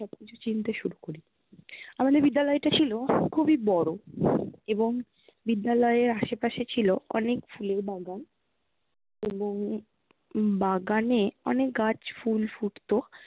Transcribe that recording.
সবকিছু চিনতে শুরু করি। আমাদের বিদ্যালয়টা ছিল খুবই বড় এবং বিদ্যালয়ের আশেপাশে ছিল অনেক ফুলের বাগান এবং বাগানে অনেক গাছ ফুল ফুটতো